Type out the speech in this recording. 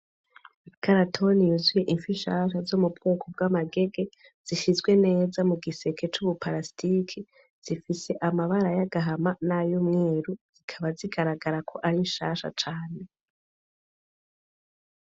Ikarato yuzuye ifi zikiri nshasha zo mu bwoko bw'amagege zishizwe neza mugi seke curu parastike zifise amabara y' agahama nay'umweru zikaba zigaragara ko ari nshasha cane.